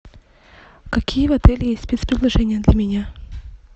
какие в отеле есть спец предложения для меня